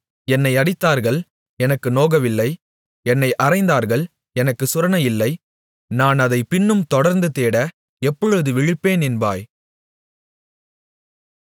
என்னை அடித்தார்கள் எனக்கு நோகவில்லை என்னை அறைந்தார்கள் எனக்குச் சுரணையில்லை நான் அதைப் பின்னும் தொடர்ந்து தேட எப்பொழுது விழிப்பேன் என்பாய்